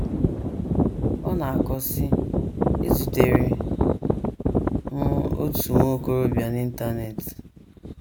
Ọ na - akọ, sị: “ Ezutere m otu nwa okorobịa n’Internet.